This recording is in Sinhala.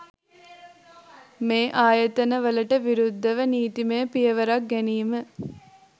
මෙ ආයතන වලට විරුද්ධව නීතිමය පියවරක් ගැනීම